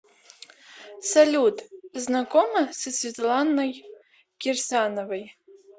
салют знакома со светланой кирсановой